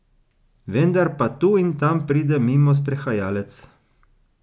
Vendar pa tu in tam pride mimo sprehajalec.